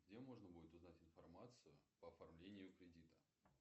где можно будет узнать информацию по оформлению кредита